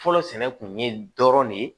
Fɔlɔ sɛnɛ kun ye dɔrɔn ne ye